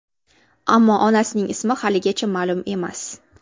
Ammo onasining ismi haligacha ma’lum emas.